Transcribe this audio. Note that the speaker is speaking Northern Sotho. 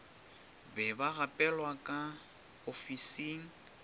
be ba gapelwa ka ofising